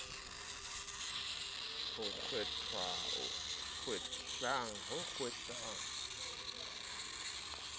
ho kgwehlang e ne e